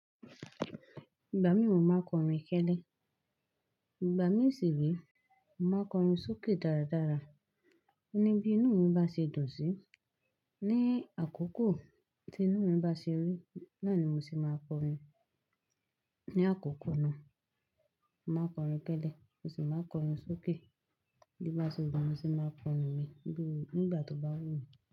Ìgbà mí mò máa n kọrin kẹ́lẹ́, ìgbà mi sì re, mo màá n kọrin sókè dáradára. Ní bi inú mi bá ṣe dùn sí ní àkókò tí inú mi bá ṣe rí, náà ni mo se máa kọrin. Ní àkókò náà, mo màá n kọrin kẹ́lẹ́, mo sì máa n kọrin sókè. Bó bá ṣe wù mi, mo ṣe máa kọrin mi nígbà tó bá wù mí.